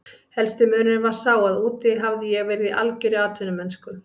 Helsti munurinn var sá að úti hafði ég verið í algjörri atvinnumennsku.